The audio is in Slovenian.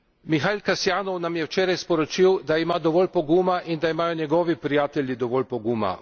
Mihail Kasjanov nam je včeraj sporočil, da ima dovolj poguma in da imajo njegovi prijatelji dovolj poguma.